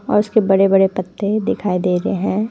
उसके बड़े बड़े पत्ते दिखाई दे रहे है।